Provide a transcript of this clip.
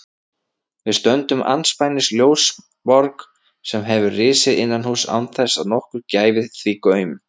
Við stöndum andspænis ljósaborg sem hefur risið innanhúss án þess að nokkur gæfi því gaum.